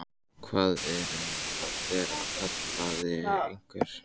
Hvað er um að vera? kallaði einhver.